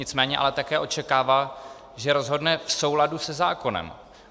Nicméně ale také očekává, že rozhodne v souladu se zákonem.